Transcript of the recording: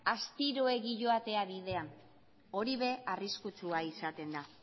astiroegi joatea bidean hori ere arriskutsua izaten da